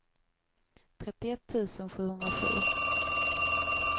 trettioett tusen sjuhundrasju